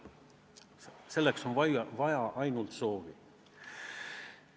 Selleks on vaja ainult soovi.